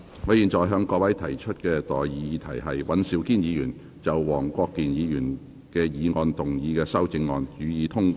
我現在向各位提出的待議議題是：尹兆堅議員就黃國健議員議案動議的修正案，予以通過。